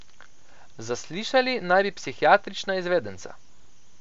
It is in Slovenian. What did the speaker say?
Zaslišali naj bi psihiatrična izvedenca.